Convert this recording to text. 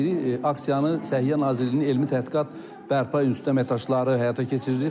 Aksiyanı Səhiyyə Nazirliyinin elmi tədqiqat bərpa institutunun əməkdaşları həyata keçirir.